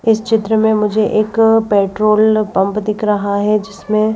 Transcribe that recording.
इस चित्र में मुझे एक पेट्रोल पंप दिख रहा है जिसमें--